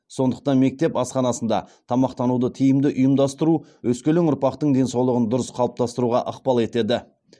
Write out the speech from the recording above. сондықтан мектеп асханасында тамақтануды тиімді ұйымдастыру өскелең ұрпақтың денсаулығын дұрыс қалыптастыруға ықпал етеді